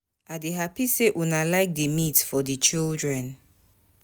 I dey happy say una like the meat for the children